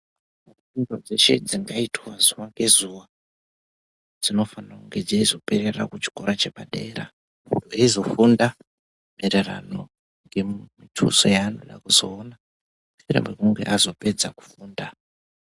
Fundo dzeshe dzingaitwa zuva ngezuva dzinofanira kunge dzeizoperera kuchikoro chepadera. Veizofunda maererano ngemituso yaanoda kuzoona mushure mekunge azopedza kufunda.